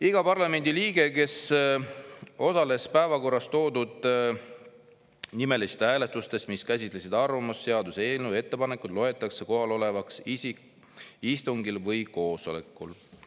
Iga parlamendiliige, kes osales päevakorras toodud nimelistes hääletustes, mis käsitlesid arvamust, seaduseelnõu või ettepanekuid, loetakse istungil või koosolekul kohal olevaks.